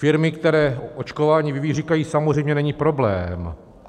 Firmy, které očkování vyvíjejí, říkají: Samozřejmě, není problém.